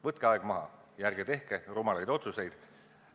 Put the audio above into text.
Võtke aeg maha ja ärge tehke rumalaid otsuseid.